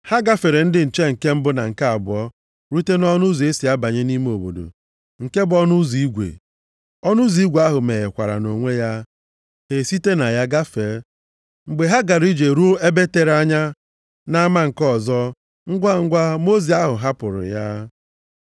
Ha gafere ndị nche nke mbụ na nke abụọ rute nʼọnụ ụzọ e si abanye nʼime obodo, nke bụ ọnụ ụzọ igwe. Ọnụ ụzọ igwe ahụ meghekwara nʼonwe ya, ha esite na ya gafee. Mgbe ha gara ije ruo ebe tere anya nʼama nke ọzọ, ngwangwa mmụọ ozi ahụ hapụrụ ya.